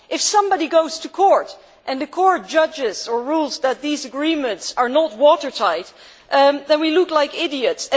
If somebody goes to court and the court rules that these agreements are not watertight, then we look like idiots.